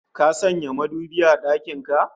Ka sanya madubi a dakin ka?